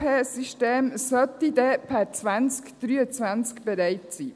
Dieses ERP-System sollte per 2023 bereit sein.